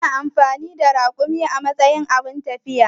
Ana amfani da rakumi a matsayin abun tafiya.